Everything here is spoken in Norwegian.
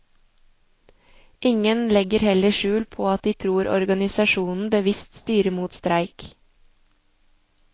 Ingen legger heller skjul på at de tror organisasjonen bevisst styrer mot streik.